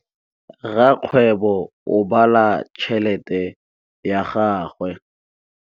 Rakgwêbô o bala tšheletê ya gagwe.